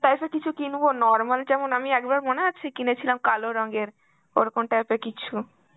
তাইতো কিছু কিনবো normal যেমন আমি একবার মনে আছে কিনেছিলাম কালো রংয়ের, ওরকম type এর কিছু.